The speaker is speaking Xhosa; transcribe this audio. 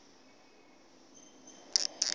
nonyawoza